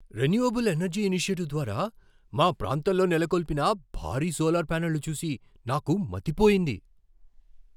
Renewable energy initiative ద్వారా మా ప్రాంతంలో నెలకొల్పిన భారీ సోలార్ ప్యానెళ్లు చూసి నాకు మతిపోయింది.